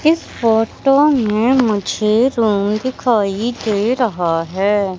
इस फोटो में मुझे रूम दिखाई दे रहा है।